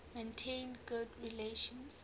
maintained good relations